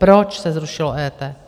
Proč se zrušilo EET?